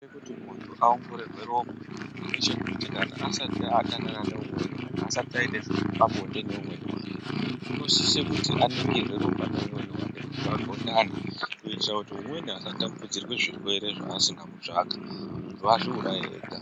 Chinoita kuti muntu aongororwe ropa ndechekuti kana asati adanana neumweni kana asati aita zvepabonde neimweni wake unosisa kuti aningirwe ropa neumweni wake kuti vagondane kuitira kuti umweni asatapurirwa zvirwere zvasina kutsvaga muntu azviuraye ega.